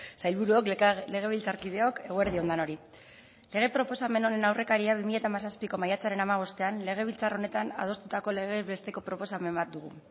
sailburuok legebiltzarkideok eguerdi on denoi lege proposamen honen aurrekaria bi mila hamazazpiko maiatzaren hamabostean legebiltzar honetan adostutako legez besteko proposamen bat dugu